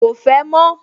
Ko fẹ́ mọ́